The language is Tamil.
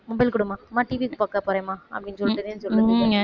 mobile கொடும்மா அம்மா TV பார்க்க போறேன்மா அப்படின்னு சொல்லுதுக